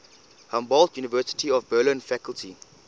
humboldt university of berlin faculty